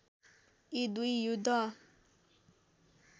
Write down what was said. यी दुई युद्ध